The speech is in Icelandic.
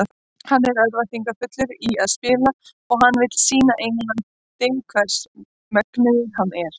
Hann er örvæntingarfullur í að spila og hann vill sýna Englandi hvers megnugur hann er.